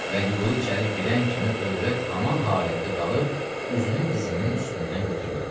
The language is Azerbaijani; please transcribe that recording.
Vəliqulu içəri girən kimi övrət haman halətdə qalıb, üzünü dizinin üstündən götürmədi.